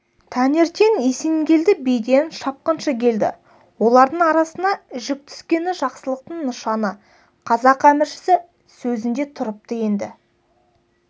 таңертең есенгелді биден шапқыншы келді олардың арасына жік түскені жақсылықтың нышаны қазақ әміршісі сөзінде тұрыпты енді